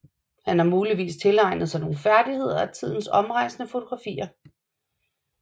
Han har muligvis tilegnet sig nogle færdigheder af tidens omrejsende fotografer